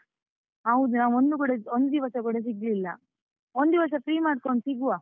ಹೌದು, ನಾವ್ ಒಂದು ಕೂಡ ಒಂದು ದಿವಸ ಕೂಡ ಸಿಗ್ಲಿಲ್ಲ, ಒಂದಿವಸ free ಮಾಡ್ಕೊಂಡು ಸಿಗುವ.